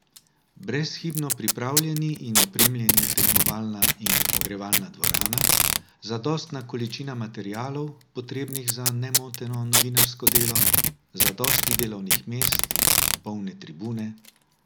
Brezhibno pripravljeni in opremljeni tekmovalna in ogrevalna dvorana, zadostna količina materialov, potrebnih za nemoteno novinarsko delo, zadosti delovnih mest, polne tribune...